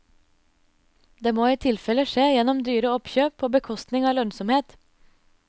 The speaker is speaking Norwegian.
Det må i tilfelle skje gjennom dyre oppkjøp på bekostning av lønnsomhet.